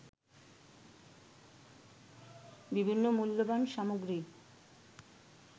বিভিন্ন মূল্যবান সামগ্রী